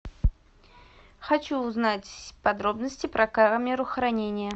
хочу узнать подробности про камеру хранения